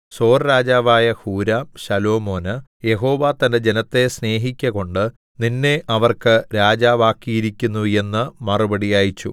സോർരാജാവായ Huram ശലോമോന് യഹോവ തന്റെ ജനത്തെ സ്നേഹിക്കകൊണ്ടു നിന്നെ അവർക്ക് രാജാവാക്കിയിരിക്കുന്നു എന്ന് മറുപടി അയച്ചു